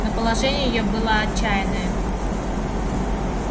но положение её было отчаянное